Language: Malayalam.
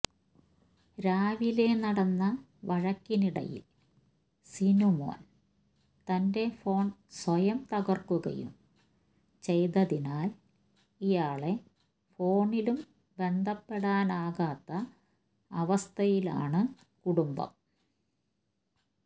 രാവിലെ നടന്ന വഴക്കിനിടയിൽ സിനുമോൻ തന്റെ ഫോൺ സ്വയം തകർക്കുകയും ചെയ്തതിനാൽ ഇയാളെ ഫോണിലും ബന്ധപ്പെടാനാകാത്ത അവസ്ഥയിലാണ് കുടുംബം